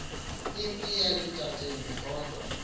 impi yaselutateni kodwa